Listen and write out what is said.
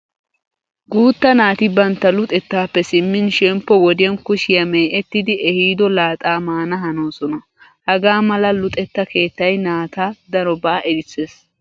Guutta naati bantta luxettaappe simmin shemppo wodiyan kushiya mee'ettidi ehiido laaxaa mana hanosona. Hagaa mala luxetta keettay naata darobaa erissees.